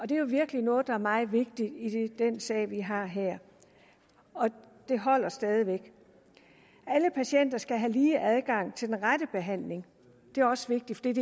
det er jo virkelig noget der er meget vigtigt i den sag vi har her det holder stadig væk alle patienter skal have lige adgang til den rette behandling det er også vigtigt